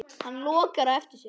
Hann lokar á eftir sér.